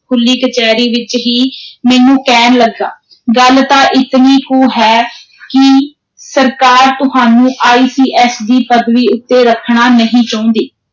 ਖੁੱਲ੍ਹੀ ਕਚਹਿਰੀ ਵਿਚ ਹੀ ਮੈਨੂੰ ਕਹਿਣ ਲੱਗਾ, ਗੱਲ ਤਾਂ ਇਤਨੀ ਕੁ ਹੈ ਕਿ ਸਰਕਾਰ ਤੁਹਾਨੂੰ ICS ਦੀ ਪਦਵੀ ਉਤੇ ਰੱਖਣਾ ਨਹੀਂ ਚਾਹੁੰਦੀ।